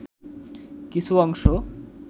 কিছু অংশ